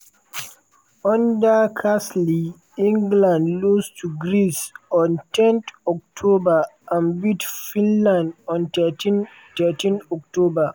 under carsley england lose to greece on ten october and beat finland on thirteen thirteen october.